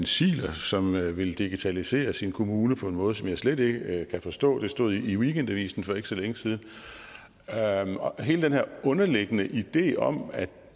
ziegler som ville ville digitalisere sin kommune på en måde som jeg slet ikke kan forstå det stod i weekendavisen for ikke så længe siden hele den her underliggende idé om at